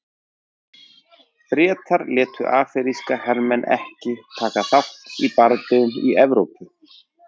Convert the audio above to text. Bretar létu afríska hermenn ekki taka þátt í bardögum í Evrópu.